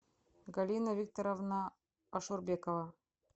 галина викторовна ашурбекова